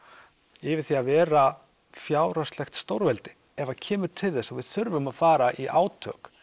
yfir í að vera fjárhagslegt stórveldi ef að kemur til þess að við þurfum að fara í átök